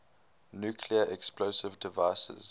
nuclear explosive devices